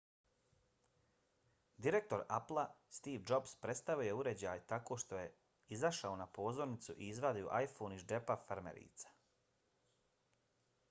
direktor applea steve jobs predstavio je uređaj tako što je izašao na pozornicu i izvadio iphone iz džepa farmerica